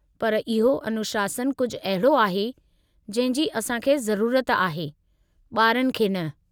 पर इहो अनुशासनु कुझु अहिड़ो आहे जंहिं जी असां खे ज़रूरत आहे, ॿारनि खे न।